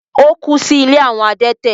Ó kú sí “ ilé àwọn adẹ́tẹ̀”.